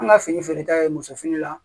An ka fini feere ta ye musofini la